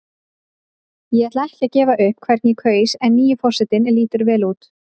Ég ætla ekki að gefa upp hvern ég kaus en nýi forsetinn lítur vel út.